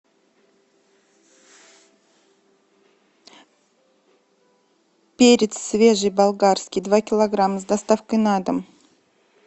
перец свежий болгарский два килограмма с доставкой на дом